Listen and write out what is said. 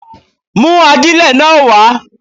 Mú ajílẹ̀ náà wá.